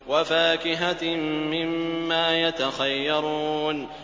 وَفَاكِهَةٍ مِّمَّا يَتَخَيَّرُونَ